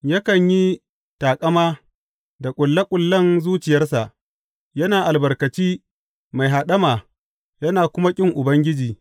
Yakan yi taƙama da ƙulle ƙullen zuciyarsa; yana albarkaci mai haɗama yana kuma ƙin Ubangiji.